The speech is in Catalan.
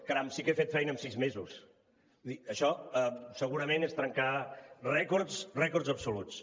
caram si que he fet feina amb sis mesos vull dir això segurament és trencar rècords absoluts